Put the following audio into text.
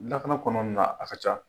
Lakana kɔnɔ ni na a ka ca.